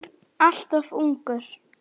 Alltof ungur.